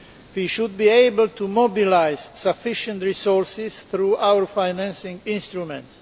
We should be able to mobilise sufficient resources through our financing instruments.